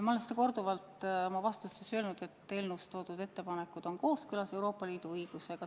Ma olen teile vastates korduvalt öelnud, et eelnõus toodud ettepanekud on kooskõlas Euroopa Liidu õigusega.